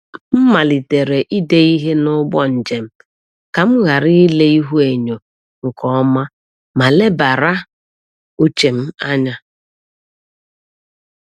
M malitere ide ihe n’ụgbọ njem ka m ghara ile ihuenyo nke ọma ma lebara uche m anya.